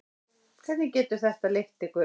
Hvert getur þetta leitt ykkur?